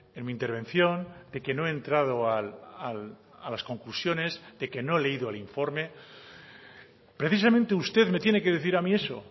en mi intervención de que no he entrado a las conclusiones de que no he leído el informe precisamente usted me tiene que decir a mí eso